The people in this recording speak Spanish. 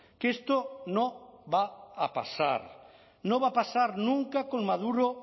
que esto no va a pasar no va a pasar nunca con maduro